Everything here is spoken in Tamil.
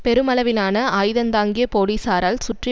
பெருமளவிலான ஆயுதந்தாங்கிய போலீசாரால் சுற்றி